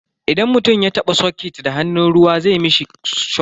Idan mutum ya taba soket da hannun ruwa zai mishi shokin.